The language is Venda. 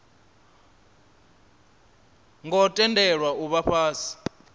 ngo tendelwa u vha fhasi